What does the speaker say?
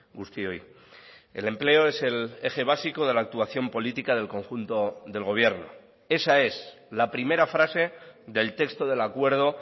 guztioi el empleo es el eje básico de la actuación política del conjunto del gobierno esa es la primera frase del texto del acuerdo